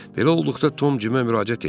Belə olduqda Tom Cimə müraciət etdi.